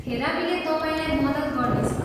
थेरापीले तपाईँलाई मद्दत गर्नेछ।